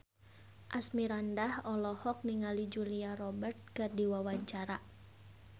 Asmirandah olohok ningali Julia Robert keur diwawancara